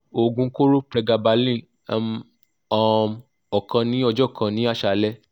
oogun koro pregabalin m um okan ni ojo kan ni asale